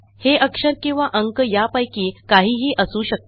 हे अक्षर किंवा अंक यापैकी काहीही असू शकते